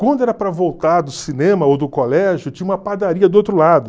Quando era para voltar do cinema ou do colégio, tinha uma padaria do outro lado.